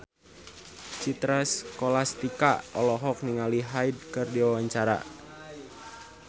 Citra Scholastika olohok ningali Hyde keur diwawancara